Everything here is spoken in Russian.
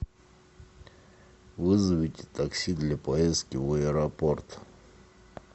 вызовите такси для поездки в аэропорт